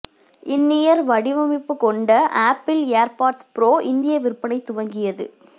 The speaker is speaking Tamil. இன் இயர் வடிவமைப்பு கொண்ட ஆப்பிள் ஏர்பாட்ஸ் ப்ரோ இந்திய விற்பனை துவங்கியது